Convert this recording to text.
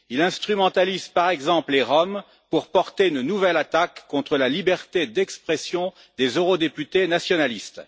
Il instrumentalise, par exemple, les Roms pour porter une nouvelle attaque contre la liberté d'expression des eurodéputés nationalistes.